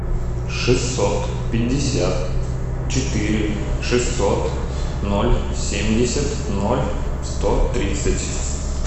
шестьсот пятьдесят четыре шестьсот ноль семьдесят ноль сто тридцать